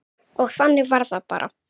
Og þannig var það bara.